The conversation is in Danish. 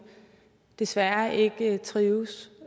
desværre ikke trives